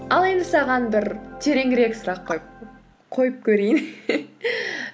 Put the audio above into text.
ал енді саған бір тереңірек сұрақ қойып көрейін